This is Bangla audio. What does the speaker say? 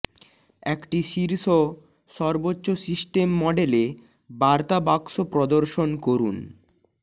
একটি শীর্ষ সর্বোচ্চ সিস্টেম মডেলে বার্তা বাক্স প্রদর্শন করুন